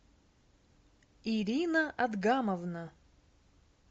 ирина адгамовна